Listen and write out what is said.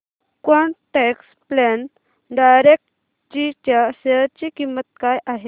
quant tax plan direct G च्या share ची किंमत काय आहे